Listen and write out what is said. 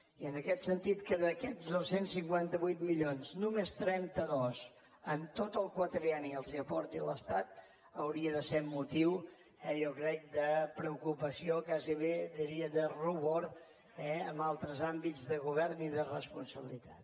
i en aquest sentit que d’aquests dos cents i cinquanta vuit milions només trenta dos en tot el quadrienni els aporti l’estat hauria de ser motiu eh jo crec de preocupació gairebé diria de rubor en altres àmbits de govern i de responsabilitat